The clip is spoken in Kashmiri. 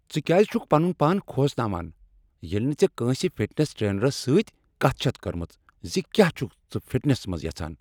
ژٕ کیٛاز چھکھ پنن پان کھوژناوان ییٚلہ نہٕ ژےٚکٲنسہ فِٹنس ٹرینرس سۭتۍ کتھ چھتھ کٔرمٕژ ز کیٛاہ چھکھ ژٕ فٹنس منٛز یژھان؟